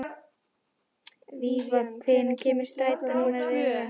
Jóhannes: Hvernig nemandi er hann?